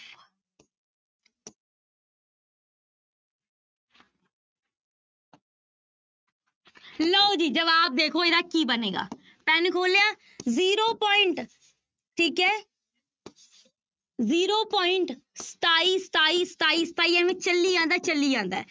ਲਓ ਜੀ ਜਵਾਬ ਦੇਖੋ ਇਹਦਾ ਕੀ ਬਣੇਗਾ, ਪੈਨ ਖੋਲ ਲਿਆ zero point ਠੀਕ ਹੈ zero point ਸਤਾਈ, ਸਤਾਈ, ਸਤਾਈ, ਸਤਾਈ ਇਵੇਂ ਚੱਲੀ ਜਾਂਦਾ ਹੈ ਚੱਲੀ ਜਾਂਦਾ ਹੈ।